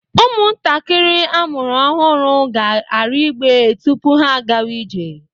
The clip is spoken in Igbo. Ụmụntakịrị amụrụ ọhụrụ ga-arị igbe tupu ha a gawa ije.